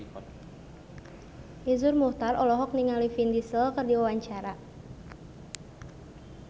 Iszur Muchtar olohok ningali Vin Diesel keur diwawancara